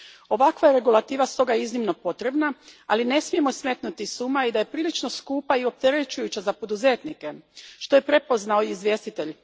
Ovakva je regulativa stoga iznimno potrebna, ali ne smijemo smetnuti s uma i da je prilično skupa i opterećujuća za poduzetnike, što je prepoznao i izvjestitelj.